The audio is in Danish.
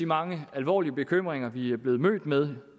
mange alvorlige bekymringer vi blevet mødt med